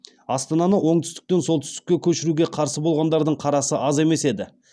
астананы оңтүстіктен солтүстікке көшіруге қарсы болғандардың қарасы аз емес еді